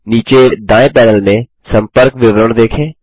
नीचे दायें पैनल में सम्पर्क विवरण देखें